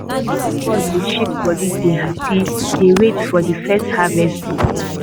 all of us dey shake body dey happy dey wait for de first harvest day.